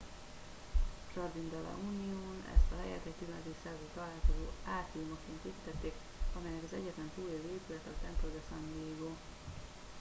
jardín de la unión ezt a helyet egy 17. századi találkozó átriumaként építették amelynek az egyetlen túlélő épülete a templo de san diego